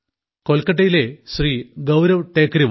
കൊൽക്കത്തയിലെ ശ്രീ ഗൌരവ് ടേകരിവാൾ